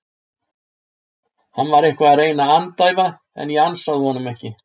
Hann var eitthvað að reyna að andæfa en ég ansaði honum ekki.